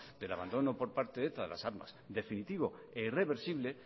del abandono por parte de eta las armas definitivo e irreversible